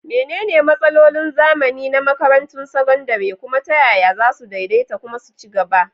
Menene matsalolin zamani na makarantun sakandare, kuma ta yaya za su daidaita kuma su ci gaba?